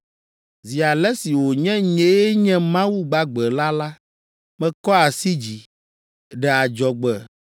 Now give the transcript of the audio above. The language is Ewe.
Zi ale si wònye nyee Nye Mawu gbagbe la la, Mekɔ asi dzi, ɖe adzɔgbe